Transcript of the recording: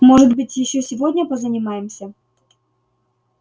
может быть ещё сегодня позанимаемся